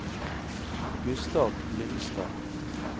Gustav Lyngstad